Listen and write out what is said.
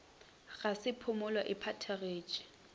ga ge phumulo e phethagetše